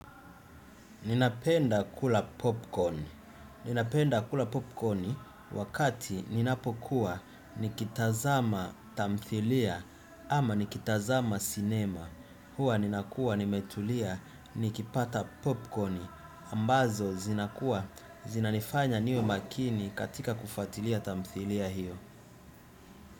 Ninapenda kula popcorni wakati ninapokuwa nikitazama tamthilia ama nikitazama cinema. Huwa ninakua nimetulia nikipata popcorni ambazo zinakua zinanifanya niwe makini katika kufuatilia tamthilia hiyo.